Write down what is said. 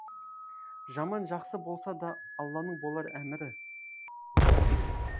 жаман жақсы болса да алланың болар әмірі